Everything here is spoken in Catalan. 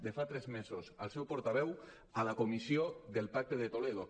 de fa tres mesos el seu portaveu a la comissió del pacte de toledo